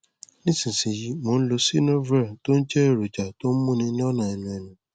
nísinsìnyí mo ń lo xynovir tó ń jẹ èròjà tó ń múni lọnà ẹnu ẹnu